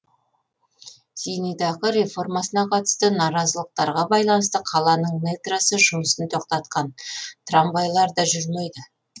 зейнетақы реформасына қатысты наразылықтарға байланысты қаланың метросы жұмысын тоқтатқан трамвайлар да жүрмейді